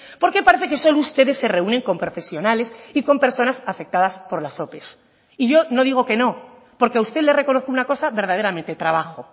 porque parece que solo ustedes se reúnen con profesionales y con personas afectadas por las ope y yo no digo que no porque a usted le reconozco una cosa verdaderamente trabajo